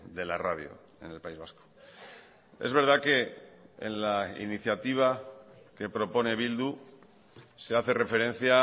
de la radio en el país vasco es verdad que en la iniciativa que propone bildu se hace referencia